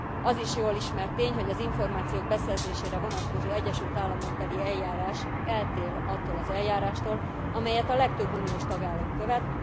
Az is jól ismert tény, hogy az információk beszerzésére vonatkozó egyesült államokbeli eljárás eltér attól az eljárástól, amelyet a legtöbb uniós tagállam követ.